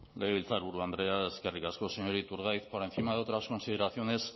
legebiltzarburu andrea eskerrik asko señor iturgaiz por encima de otras consideraciones